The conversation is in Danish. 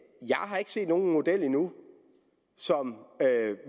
set nogen model endnu som